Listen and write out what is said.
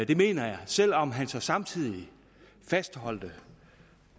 det mener jeg selv om han så samtidig fastholdt